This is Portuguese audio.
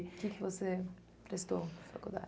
O que que você prestou na